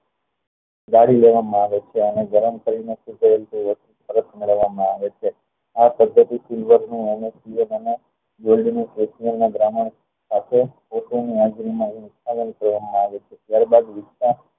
દારી લેવા માં આવે છે અને ગરમ કરી ને ચારે બાજુ વિકસ